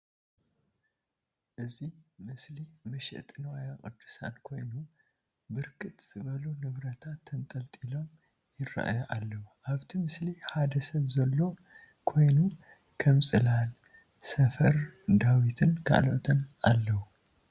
እዚ መስሊ መሸጢ ንዋየ የዱሳት ኮይኑ ብርክት ዝበሉ ንብረታት ተንጠልጢሎም ይረአዩ አለዉ፡፡ አብቲ ምስሊ ሓደ ሰብ ዘሎ ኮይኑ ከም ፅላል፣ ሰፈር ዳዊትን ካልኦትን አለዉ፡፡